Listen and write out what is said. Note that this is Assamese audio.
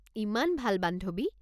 ইমান ভাল বান্ধৱী!